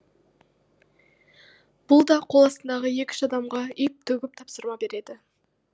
бұл да қол астындағы екі үш адамға үйіп төгіп тапсырма береді